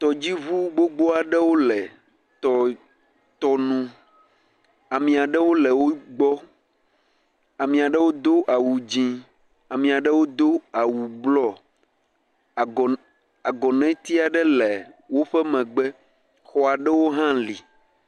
Tɔdziŋu gbogbo aɖewo le tɔ, tɔnu. Ame aɖewo le wogbɔ. Ame aɖewo do awu dzẽ. Ame aɖewo do awu blɔɔ. Agɔnɛ, agɔnɛti aɖe le woƒe megbe, xɔ aɖewo hã li.